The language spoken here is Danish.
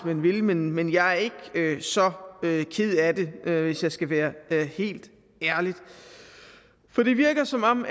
man vil men men jeg er ikke så ked af det hvis jeg skal være helt ærlig for det virker som om